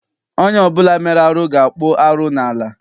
Onye ọbụla mere arụ ga-akpụ arụ n'ala Igbo.